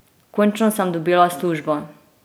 Končno sem dobila službo!